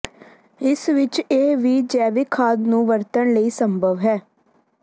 ਇਸ ਵਿਚ ਇਹ ਵੀ ਜੈਵਿਕ ਖਾਦ ਨੂੰ ਵਰਤਣ ਲਈ ਸੰਭਵ ਹੈ